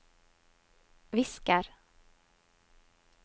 visker